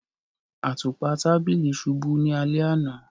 Àtupa tàbílí ṣubú ni alẹ̀ ana.